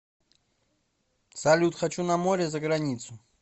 салют хочу на море заграницу